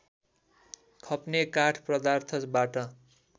खप्ने काठ पदार्थबाट